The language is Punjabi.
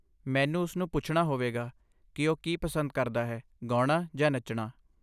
ਮੈਨੂੰ ਉਸਨੂੰ ਪੁੱਛਣਾ ਹੋਵੇਗਾ ਕਿ ਉਹ ਕੀ ਪਸੰਦ ਕਰਦਾ ਹੈ, ਗਾਉਣਾ ਜਾਂ ਨੱਚਣਾ।